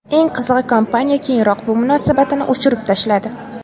Eng qizig‘i, kompaniya keyinroq bu munosabatini o‘chirib tashladi.